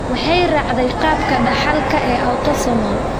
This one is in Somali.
Waxay raacdaa qaabka dhaxalka ee autosomal.